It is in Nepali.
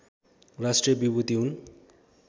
राष्ट्रिय विभूति हुन्